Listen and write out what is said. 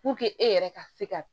e yɛrɛ ka se ka